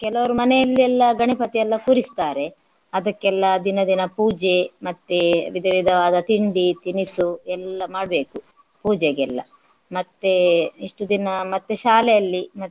ಕೆಲವರು ಮನೆಯಲ್ಲಿ ಎಲ್ಲ ಗಣಪತಿ ಎಲ್ಲ ಕೂರಿಸ್ತಾರೆ. ಅದಕ್ಕೆಲ್ಲ ದಿನ ದಿನ ಪೂಜೆ ಮತ್ತೆ ವಿಧ ವಿಧವಾದ ತಿಂಡಿ ತಿನಿಸು ಎಲ್ಲಾ ಮಾಡ್ಬೇಕು ಪೂಜೆಗೆಲ್ಲ. ಮತ್ತೆ ಇಷ್ಟು ದಿನ ಮತ್ತೆ ಶಾಲೆಯಲ್ಲಿ.